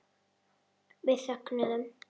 Við þögðum.